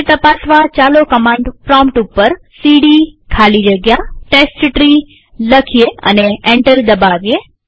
તે તપાસવાચાલો command prompt ઉપર સીડી ખાલી જગ્યા ટેસ્ટટ્રી લખીએ અને એન્ટર દબાવીએ